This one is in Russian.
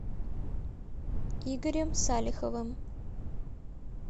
игорем салиховым